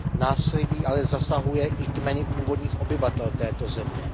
Násilí ale zasahuje i kmeny původních obyvatel této země.